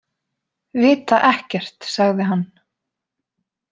Vita ekkert, sagði hann.